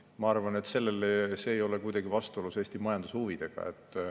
Ma arvan, et see ei ole kuidagi vastuolus Eesti majandushuvidega.